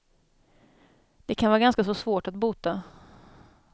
Det kan vara ganska så svårt att bota.